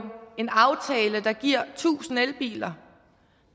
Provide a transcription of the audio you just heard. en aftale der giver tusind elbiler